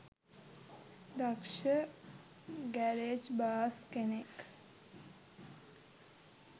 දක්ෂ ගැරේජ් බාස් කෙනෙක්